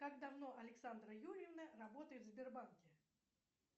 как давно александра юрьевна работает в сбербанке